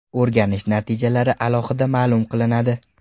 O‘rganish natijalari alohida ma’lum qilinadi.